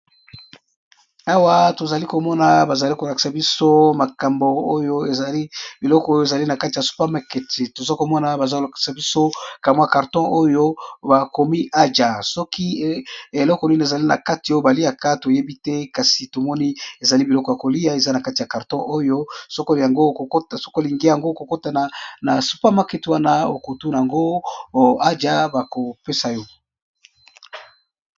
Awa tozali komona bazali kolakisa biso makambo oyo ezali biloko ezali na kati ya supermaketi toza komona bazal kolakisa biso kamwa y karton oyo bakomi ajja soki eloko nini ezali na kati oyo baliaka toyebi te kasi tomoni ezali biloko ya kolia eza na kati ya karton oyo ngosoko olingi yango okokotana na supermaketi wana okutu yangoajja bakopesa yo.